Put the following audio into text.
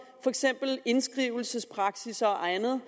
for eksempel indskrivelsespraksis og andet